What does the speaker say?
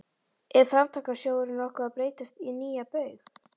Er Framtakssjóðurinn nokkuð að breytast í nýja Baug?